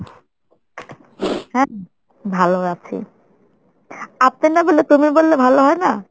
হ্যাঁ। ভালো আছি। আপনি না বললে তুমি বললে ভালো হয় না?